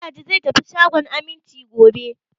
Magaji zai tafi shagon Aminci gobe.